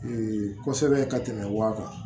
kosɛbɛ ka tɛmɛ wa kan